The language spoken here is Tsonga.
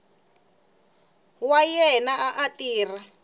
wa yena a a tirha